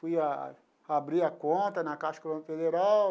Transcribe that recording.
Fui ah abrir a conta na Caixa Econômica Federal,